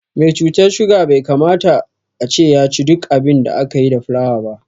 Me cutar suga bai kamata ace yaci duk abin da aka yi da fulawa ba